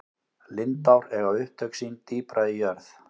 lindár eiga upptök sín dýpra í jörð